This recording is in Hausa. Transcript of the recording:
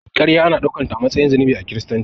Karya ana daukanta a matsayin zunubi a kiristanci.